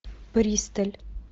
присталь